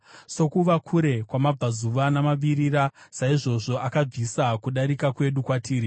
sokuva kure kwamabvazuva namavirira, saizvozvo akabvisa kudarika kwedu kwatiri.